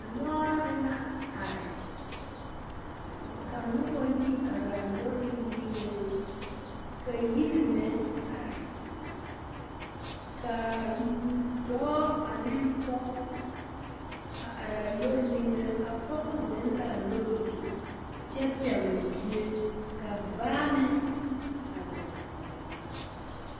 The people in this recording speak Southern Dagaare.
Lɔre la are. Ka noba yi are a lɔre niŋeŋ. Ka yire meŋ are. Ka a dɔɔ ane pɔgɔ a areɛ a lɔre niŋe ka a pɔgɔ zeŋ la a lɔre zu kyɛ pɛgle bie. Ka baa meŋ a zeŋ kɔg ba.